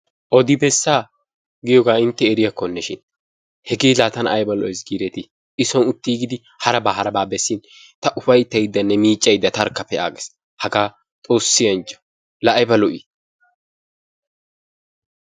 Odi bessa giyooga intte eriyaakoneshin, hege la tana aybbalo"essi gideeti. I soon uttiigidi haraba haraba bessin ta upayttaydanne miiccaydde tarkka pe'aagassi. Hagaa Xoossi anjjo laa ayba lo'ii!